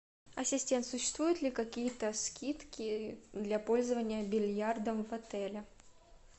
ассистент существуют ли какие то скидки для пользования бильярдом в отеле